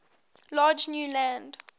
large new land